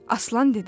Aslan dedi.